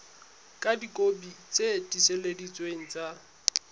ka dikopi tse tiiseleditsweng tsa